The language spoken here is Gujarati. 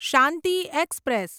શાંતિ એક્સપ્રેસ